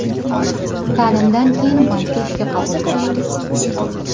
Ta’limdan keyin bankka ishga qabul qilishdi.